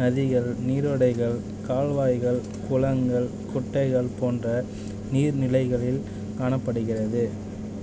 நதிகள் நீரோட்டங்கள் கால்வாய்கள் குளங்கள் குட்டைகள் போன்ற நீர் நிலைகளில் காணப்படுகிறது